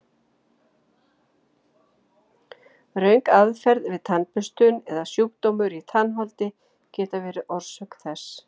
Röng aðferð við tannburstun eða sjúkdómar í tannholdi geta verið orsök þess.